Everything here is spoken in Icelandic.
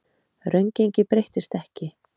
Raungengið breyttist ekki